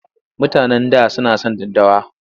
Mutanen da suna son daddawa.